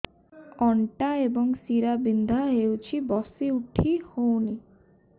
ଅଣ୍ଟା ଏବଂ ଶୀରା ବିନ୍ଧା ହେଉଛି ବସି ଉଠି ହଉନି